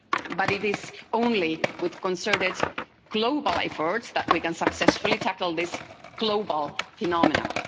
But it is only with concerted global efforts that we can successfully tackle this global phenomenon.